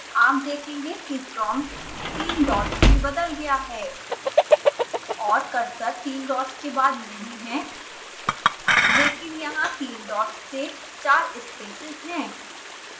आप देखेंगे कि prompt तीन डॉट्स में बदल गया है